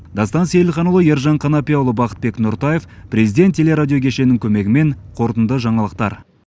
дастан сейілханұлы ержан қанапияұлы бақытбек нұртаев президент телерадио кешені көмегімен қорытынды жаңалықтар